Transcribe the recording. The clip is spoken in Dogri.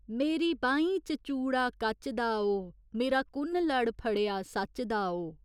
मेरी बाहीं च चूड़ा कच्च दा ओ मेरा कु'न्न लड़ फड़ेआ सच्च दा ओ।